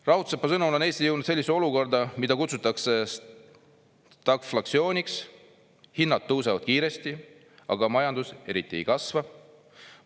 "Raudsepa sõnul on Eesti jõudnud sellisesse olukorda, mida kutsutakse stagflatsiooniks – hinnad tõusevad kiiresti, aga majandus eriti ei kasva.